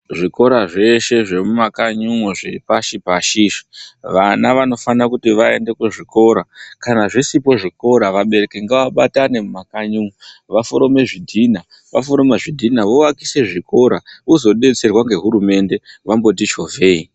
Zvikora zveshe zvemumakanyi umwo zvepashi pashi vana vanofanira kuti vaende kuzvikora. Kana zvisiko zvikora vabereki ngavabatane mumakanyi umwu vaforome zvidhina ,vaforoma zvidhina voaka zvikora vozobatsirwa nehurumende vamboti chovheyi.